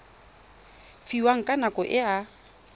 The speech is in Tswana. fiwang ka nako e a